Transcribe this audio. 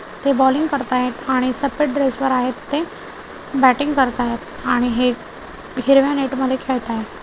ते बॉलिंग करतायेत आणि सफेद ड्रेस वर आहेत ते बॅटिंग करतायेत आणि हे हिरव्या नेट मध्ये खेळतायेत.